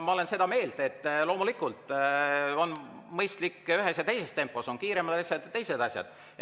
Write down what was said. Ma olen seda meelt, et loomulikult on mõistlik teha ühes ja teises tempos, on kiiremad asjad ja on teised asjad.